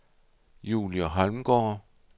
Julie Holmgaard